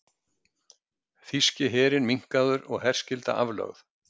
Þýski herinn minnkaður og herskylda aflögð